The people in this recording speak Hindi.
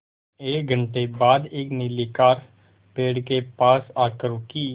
एक घण्टे बाद एक नीली कार पेड़ के पास आकर रुकी